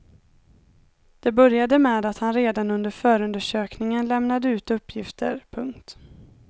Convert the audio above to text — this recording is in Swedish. Det började med att han redan under förundersökningen lämnade ut uppgifter. punkt